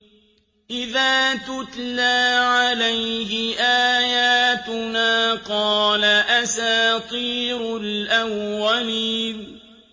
إِذَا تُتْلَىٰ عَلَيْهِ آيَاتُنَا قَالَ أَسَاطِيرُ الْأَوَّلِينَ